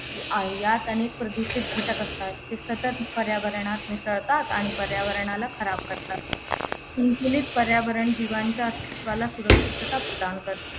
यात अनेक प्रदूषित घटक असतात जे सतत पर्यावरणात मिसळतात आणि पर्यावरणाला खराब करतात पर्यावरण जीवांच्या अस्तित्वाला सुरक्षितता प्रदान करते